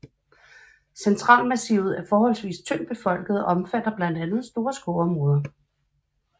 Centralmassivet er forholdsvis tyndt befolket og omfatter blandt andet store skovområder